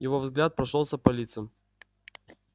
его взгляд прошёлся по лицам